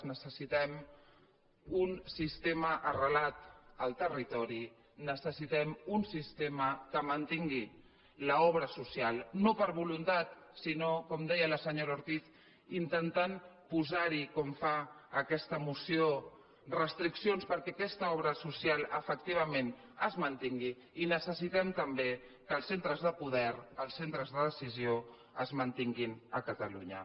necessitem un sistema arrelat al territori necessitem un sistema que mantingui l’obra social no per volun·tat sinó com deia la senyora ortiz intentant posar·hi com fa aquesta moció restriccions perquè aquesta obra social efectivament es mantingui i necessitem també que els centres de poder els centres de decisió es mantinguin a catalunya